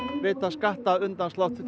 veita skattaafslátt til